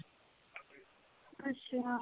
ਅੱਛਾ